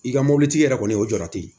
I ka mɔbilitigi yɛrɛ kɔni o jɔ te